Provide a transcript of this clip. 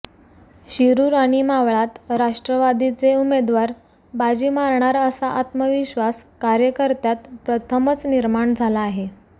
शिरूर आणि मावळात राष्ट्रवादीचे उमेदवार बाजी मारणार असा आत्मविश्वास कार्यकर्त्यांत प्रथमच निर्माण झाला आहे